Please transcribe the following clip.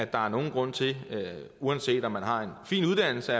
der er nogen grund til uanset om man har en fin uddannelse